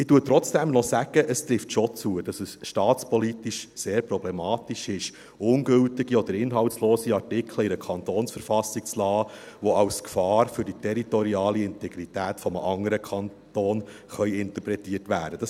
Ich sage trotzdem noch, dass es schon zutrifft, dass es staatspolitisch sehr problematisch ist, ungültige oder inhaltslose Artikel in einer Kantonsverfassung zu belassen, die als Gefahr für die territoriale Integrität eines anderen Kantons interpretiert werden können.